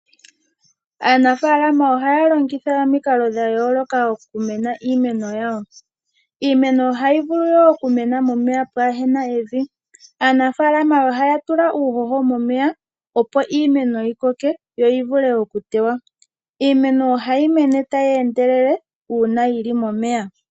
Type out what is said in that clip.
Aanafaalama ohaya longitha omikalo dha yooloka oku meneka iimeno yawo. Iimeno ohayi vulu wo oku mena momeya pwaahena evi. Aanafaalama ohaya tula uuhoho momeya, opo iimeno yi koke, yo yi vule okuteywa. Iimeno ohayi mene tayi endelele uuna yi li momeya.